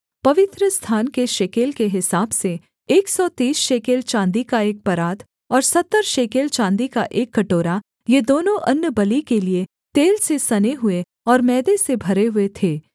अर्थात् पवित्रस्थान के शेकेल के हिसाब से एक सौ तीस शेकेल चाँदी का एक परात और सत्तर शेकेल चाँदी का एक कटोरा ये दोनों अन्नबलि के लिये तेल से सने हुए और मैदे से भरे हुए थे